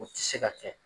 O tɛ se ka kɛ